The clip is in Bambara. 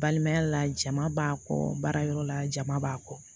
Balimaya la jama b'a kɔ baarayɔrɔ la jama b'a kɔ